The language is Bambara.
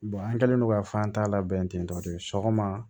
an kɛlen don ka fan ta labɛn ten tɔ de sɔgɔma